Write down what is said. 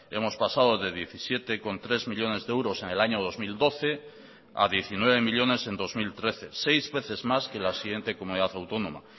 hemos pasado de diecisiete coma tres millónes de euros en el año dos mil doce a diecinueve millónes en dos mil trece seis veces más que la siguiente comunidad autónoma